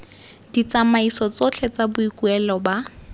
ditsamaiso tsotlhe tsa boikuelo ba